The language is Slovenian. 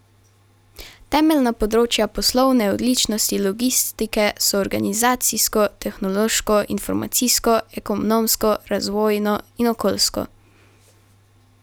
Temeljna področja poslovne odličnosti logistike so organizacijsko, tehnološko, informacijsko, ekonomsko, razvojno in okoljsko.